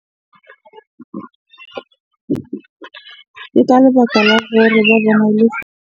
Ke ka lebaka la hore .